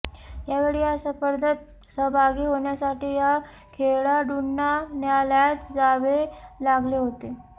यावेळी या स्पर्धेत सहभागी होण्यासाठी या खेळाडूंना न्यायालयात जावे लागले होते